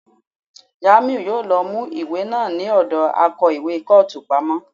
Jamiu yòó lọ mú ìwé náà ní ọ̀dọ akó ìwé kọ́ọ̀tù pamọ́.